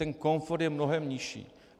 Ten komfort je mnohem nižší.